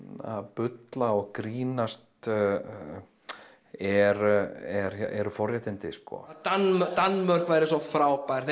bulla og grínast eru eru forréttindi Danmörk Danmörk væri svo frábært